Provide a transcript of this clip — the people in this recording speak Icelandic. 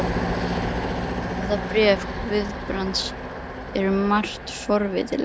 Þetta bréf Guðbrands er um margt forvitnilegt.